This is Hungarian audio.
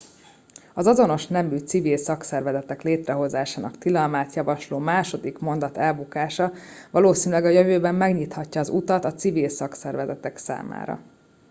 az azonos nemű civil szakszervezetek létrehozásának tilalmát javasló második mondat elbukása valószínűleg a jövőben megnyithatja az utat a civil szakszervezetek számára